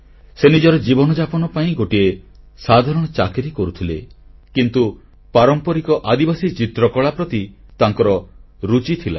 ସେ ନିଜର ଜୀବନଯାପନ ପାଇଁ ଗୋଟିଏ ସାଧାରଣ ଚାକିରି କରୁଥିଲେ କିନ୍ତୁ ପାରମ୍ପରିକ ଆଦିବାସୀ ଚିତ୍ରକଳା ପ୍ରତି ତାଙ୍କର ରୁଚି ଥିଲା